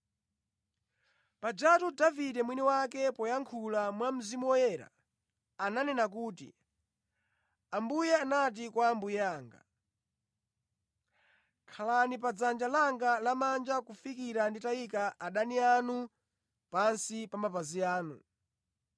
Pajatu Davide mwini wake, poyankhula mwa Mzimu Woyera, ananena kuti, “Ambuye anati kwa Ambuye anga: ‘Khalani pa dzanja langa lamanja kufikira nditayika adani anu pansi pa mapazi anu.’